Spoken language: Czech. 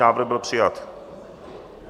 Návrh byl přijat.